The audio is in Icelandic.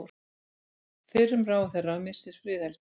Fyrrum ráðherra missir friðhelgi